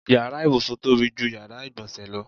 Yàrá ìbùsùn tóbi ju yàrá ìgbọ̀nsẹ̀ lọ.